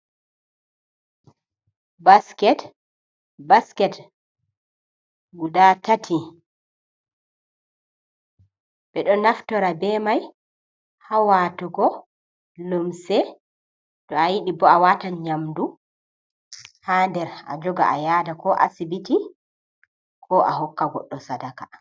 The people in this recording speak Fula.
Basket, basket guda tati, ɓeɗo naftora be mai ha watugo lumse, to a yidi bo a watan nyamdu ha nder a joga a yada ko asibiti, ko a hokka goɗɗo sadaka.